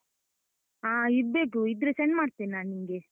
ಹಾ ಇರ್ಬೇಕು, ಇದ್ರೆ send ಮಾಡ್ತೇನೆ ನಾನ್ ನಿನ್ಗೆ.